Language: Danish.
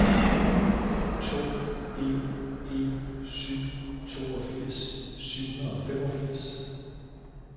to en en syv toogfirs syv hundrede og femogfirs